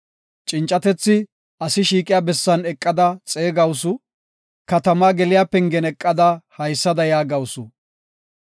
Cincatethi asi shiiqiya bessan eqada xeegawusu; katamaa geliya pengen eqada haysada yaagawusu.